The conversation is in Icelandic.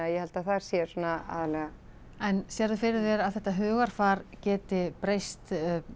ég held að það sé svona aðallega en sérðu fyrir þér að þetta hugarfar geti breyst